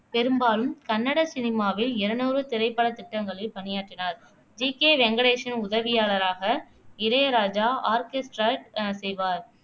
பெரும்பாலும் கன்னட சினிமாவில் இருநூறு திரைப்படத் திட்டங்களில் பணியாற்றினார் ஜி கே வெங்கடேஷின் உதவியாளராக இளையராஜா ஆர்கெஸ்ட்ரேட் அஹ் செய்வார்